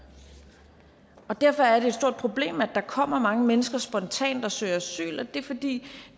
og derfor er et stort problem at der kommer mange mennesker spontant og søger asyl det er fordi